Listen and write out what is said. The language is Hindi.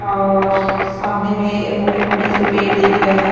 और सामने में मोटे-मोटे से पेड़ दिख रहा है।